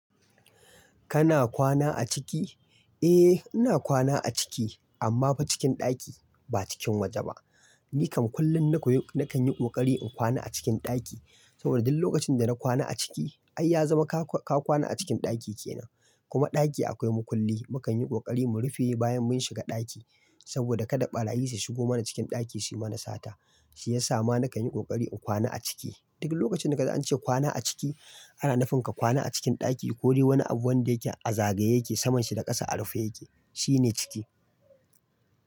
Kana kwana a ciki? Eh ina kwana a ciki amma fa cikin ɗaki ba cikin woje ba. Ni kam kullum na kan yi ƙoƙari in kwana a cikin ɗaki saboda duk lokacin da na kwana a ciki ai ya zama ka kwana a cikin ɗaki kenan. Kuma ɗaki akwai makulli. Mu kan yi ƙoƙari mu rufe bayan mun shiga ɗaki saboda kada ɓarayi su shigo mana cikin ɗaki su yi mana sata. Shi ya sa ma na kan yi ƙoƙari in kwana a ciki. Duk lokacin da kaga an ce kwana a ciki ana nufinka kwana a cikin ɗaki ko dai wani abu wanda yake a zagaye yake saman shi da ƙasa a rufe yake shi ne ciki.